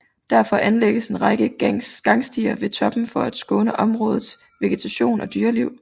Derfor anlægges en række gangstier ved toppen for at skåne områdets vegetation og dyreliv